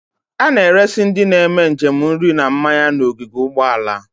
A na-eresi ndị na-eme njem nri na mmanya n'ogige ụgbọala.